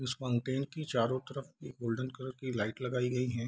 इस की चारो तरफ एक गोल्डन कलर लाइट लगाई गयी है।